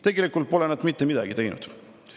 Tegelikult pole nad mitte midagi teinud.